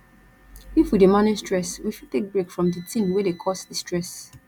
if we dey manage stress we fit take break from di thing wey dey cause di stress